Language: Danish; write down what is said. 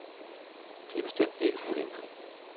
De er bestemt ikke problemfri.